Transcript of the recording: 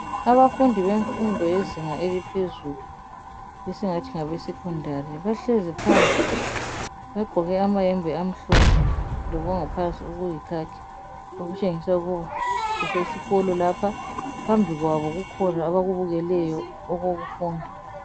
Abafundi bemfundo yezinga eliphezulu esingathi ngabesecondary bahlezi phansi bagqoke amayembe amhlophe lokwangaphansi okuyikhakhi okutshengisa ukuba kusesikolo lapha. Phambi kwabo kukhona abakubukeleyo okokufunda.